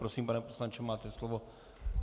Prosím, pane poslanče, máte slovo.